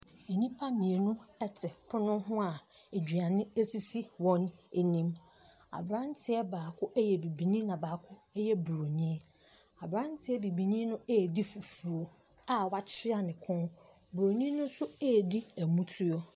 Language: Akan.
Nnipa mmienu te pono ho a aduane sisi wɔn anim. Aberanteɛ baako yɛ bibini, ɛnna baako yɛ buroni. Aberanteɛ bibini no redi fufuo a wakyea ne kɔn. Buroni no nso redi motuo.